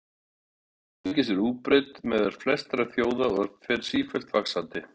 Neysla áfengis er útbreidd meðal flestra þjóða og fer sífellt vaxandi.